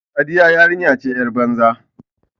Sadiya yarinya ce yar banza.